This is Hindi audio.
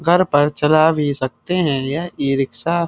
घर पर चला भी सकते हैं यह ई-रिक्शा --